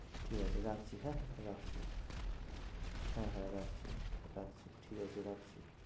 ঠিক আছে রাখছি হ্যাঁ, রাখছি হ্যাঁ হ্যাঁ রাখছি রাখছি, ঠিক আছে রাখছি।